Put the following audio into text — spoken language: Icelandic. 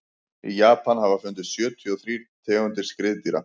í japan hafa fundist sjötíu og þrír tegundir skriðdýra